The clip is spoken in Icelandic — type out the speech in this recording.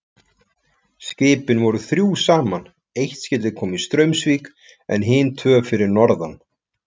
Skipin voru þrjú saman, eitt skyldi koma í Straumsvík en hin tvö fyrir norðan.